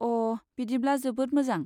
अ, बिदिब्ला जोबोद मोजां।